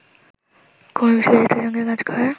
কুমার বিশ্বজিতের সঙ্গে কাজ করার